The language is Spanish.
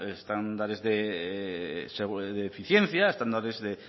estándares de eficiencia estándares de